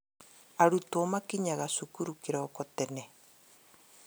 Arutwo makinyaga cukuru kĩroko tena